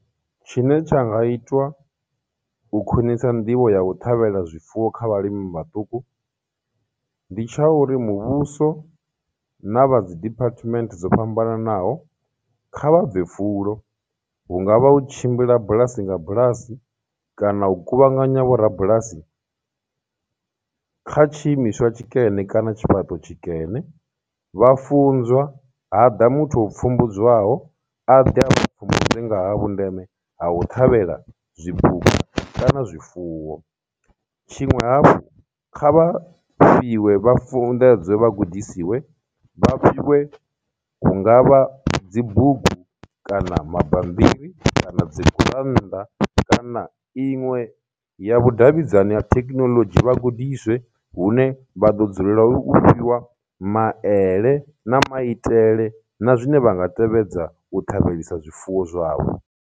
Tshine tsha nga itwa u khwinisa nḓivho ya u ṱhavhela zwifuwo kha vhalimi vhaṱuku, ndi tsha uri muvhuso, na vha dzi department dzo fhambananaho kha vha bve fulo, hungavha u tshimbila bulasi nga bulasi, kana u kuvhanganya vho rabulasi kha tshiimiswa tshikene kana tshifhaṱo tshikene, vha funzwa, ha ḓa muthu pfhumbudzwaho, a ḓe a vha pfumbudze nga ha vhundeme ha u ṱhavhela zwipuka kana zwifuwo. Tshiṅwe hafhu, kha vha fhiwe, vha funḓedzwe, vha gudisiwe, vha fhiwe hu ngavha dzi bugu, kana mabambiri, kana dzi gurannḓa, kana iṅwe ya vhudavhidzani ha thekinoḽodzhi vhagudiswe hune vha ḓo dzulela u fhiwa maele na maitele, na zwine vha nga tevhedza u ṱhavheliwa zwifuwo zwavho.